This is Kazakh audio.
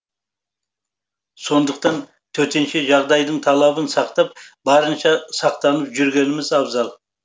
сондықтан төтенше жағдайдың талабын сақтап барынша сақтанып жүргеніміз абзал